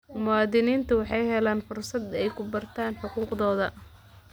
Muwaadiniintu waxay helaan fursad ay ku bartaan xuquuqdooda.